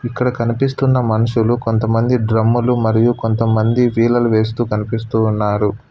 ఇక్కడ కనిపిస్తున్న మనుషులు కొంతమంది డ్రమ్ములు మరియు కొంతమంది వీలలు వేస్తూ కనిపిస్తూ ఉన్నారు.